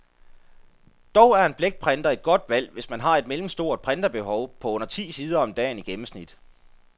Dog er en blækprinter et godt valg, hvis man har et mellemstort printerbehov på under ti sider om dagen i gennemsnit.